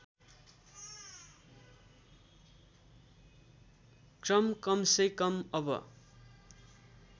क्रम कमसेकम अब